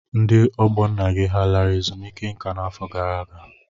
Ndị ọgbọ nna gị ọ lara ezumike nka n'afọ gara aga?